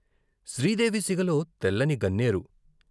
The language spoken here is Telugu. శ్రీ దేవి సిగలో తెల్లని గన్నేరు...